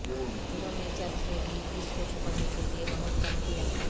انہوں نے چرچ میں بھی اس کو چھپانے کے لئے بہت کم کیا